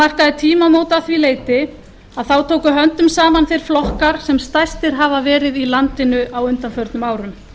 markaði tímamót að því leyti að þá tóku höndum saman þeir flokkar sem stærstir hafa verið í landinu á undanförnum árum